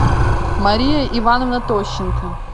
мария ивановна тощенко